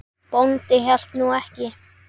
Bóndi hélt nú ekki.